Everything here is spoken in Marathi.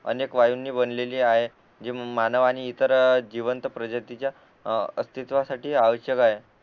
अनेक वायूंनी बनलेली आहे हे मानवांनी इतर जिवंत प्रजातीच्या अस्तित्वसाठी आवश्यक आहे